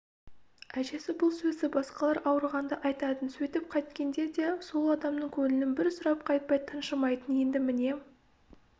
әжесі бұл сөзді басқалар ауырғанда айтатын сөйтіп қайткенде де сол адамның көңілін бір сұрап қайтпай тыншымайтын енді міне